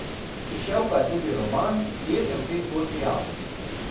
Izšel pa je tudi roman Kje sem v tej zgodbi jaz?